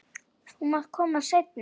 Þú mátt koma seinna.